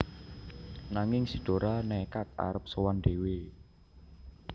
Nanging si Dora nékad arep sowan dhéwé